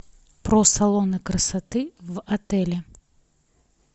про салоны красоты в отеле